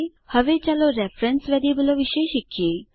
હવે ચાલો રેફરેન્સ વેરીએબલો વિશે શીખીએ